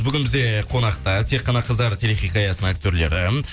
бүгін бізде қонақта тек қана қыздар телехикаясының актерлері